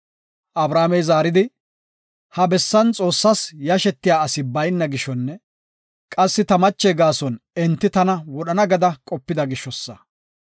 Abrahaamey zaaridi, “ ‘Ha bessan Xoossas yashetiya asi bayna gishonne qassi ta mache gaason enti tana wodhana’ gada qopida gishosa.